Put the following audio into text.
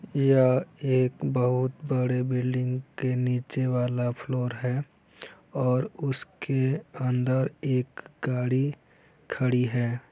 या एक बहुत बड़े बिल्डिंग के नीचे वाला फ्लोर है और उसके अंदर एक गाडी खड़ी है ।